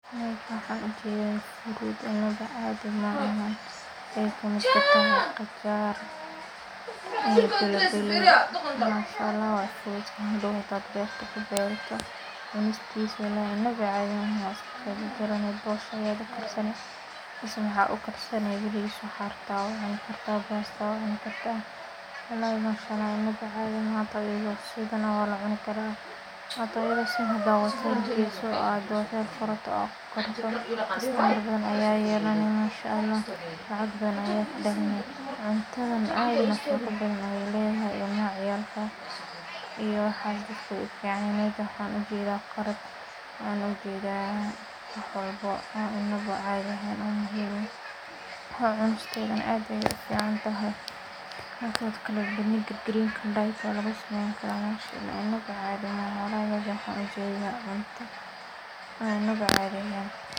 Meshan waxan ujedha fruits inawa cadhi maaha waxee kasamesantahay qagar iyo bilibili manshaallah waye hado marka aad beerto cunistisawa inawa cadhi ahen bosha aya ukarsani mase baris waxaa rabta aya ucuni kartaa basta aya ucuni kartaa walahi manshaallah inawa cadhi maha ithana waa lacuna karaa manshaallah lacag badan aya kadalini cuntadhan aad nafaqo badan ayey ledhahay ilmaha ciyalka iyo waxaa jirto ayu uficanahay meshan waxan ujedho karot waxan ujedhawax walbo an cadhi ehen, cunistedhana aaad ayey uficanyahay, marki lashilo inawa cadhi maahano waxan ujedha cuno inawa cadhi ehen.